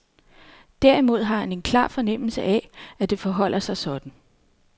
Derimod har han en klar fornemmelse af, at det forholder sig sådan.